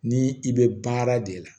Ni i bɛ baara de la